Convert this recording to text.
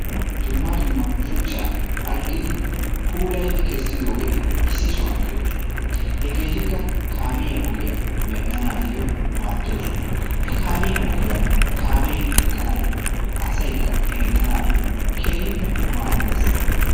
Dumma dumma shuchchaa phalqqidi puulayidi kessidoogeeti issi sohuwan de'oosona. Hegeetikka kaamiya ogiya medhanaayyoo maaddoosona. He kaamiya ogiyara kaamee hemettanaayyoo asaykka hemettanaayyo keehippe maaddes.